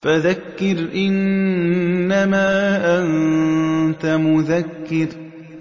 فَذَكِّرْ إِنَّمَا أَنتَ مُذَكِّرٌ